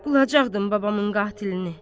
Bulacaqdım babamın qatilini.